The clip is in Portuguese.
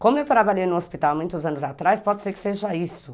Como eu trabalhei no hospital muitos anos atrás, pode ser que seja isso.